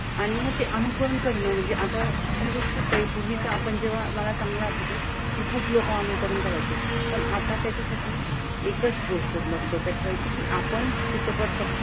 आणि म ते अनुकरण करणं म्हणजे आता काही गोष्ट पूर्वी त आपण जेव्हा मला चांगलं आठवत. कि खूप लोकं अनुकरण करायचे. पण आता त्यांच्यासाठी एकच गोष्ट डोक्यात ठेवायची. कि आपण चित्रपट फक्त,